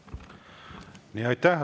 Aitäh!